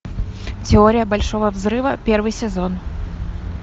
теория большого взрыва первый сезон